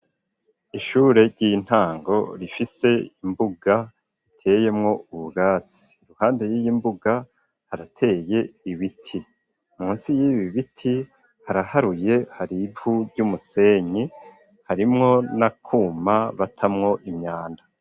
Ishure ry'intango rifise imbuga iteyemwo ubugatsi ruhande yiyi mbuga harateye ibiti munsi yibi biti haraharuye harivu ry'umusenyi harimwo n'akuma batamwo imyanda.